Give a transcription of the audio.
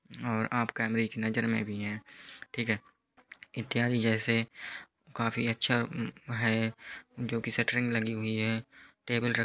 और आप कैमरे की नज़र में भी है ठीक है। इत्यादि जैसे म काफी अच्छा है जो की शटरिंग लगी हुई है टेबल रख --